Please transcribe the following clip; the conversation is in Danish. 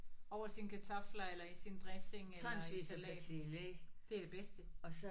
Over sine kartofler eller i sin dressing eller i salat. Det er det bedste